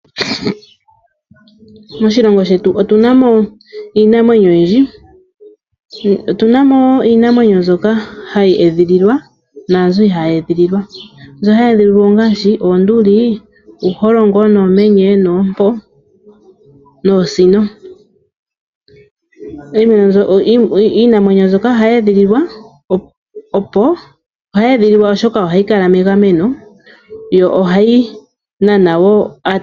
Moshilongo shetu otunamo Iinamwenyo oyindji, otunamo Iinamwenyo mbyoka hayi edhililwa nazo. Ihayi edhililwa mbyo hayi edhililwa ongashi Oonduli, oshilongo , nuumenye, nompo, noosino, Iinamwenyo mbyoka ohayi edhililwa oshoka ohayi kala mengameno yo ohayi nana wo ataleli.